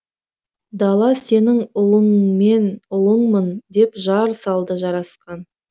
дала сенің ұлыңмын деп жар салды жарасқан